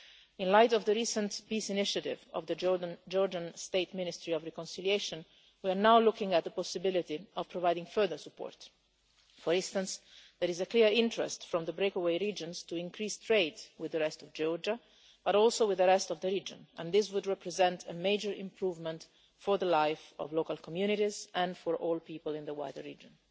In light of the recent peace initiative of the Georgian State Ministry of Reconciliation, we are now looking at the possibility of providing further support. For instance, there is a clear interest from the breakaway regions to increase trade with the rest of Georgia, but also with the rest of the region, and this would represent a major improvement for the life of local communities, and for all people in the wider region.